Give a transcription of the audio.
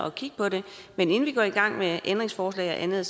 at kigge på det men inden vi går i gang med ændringsforslag og andet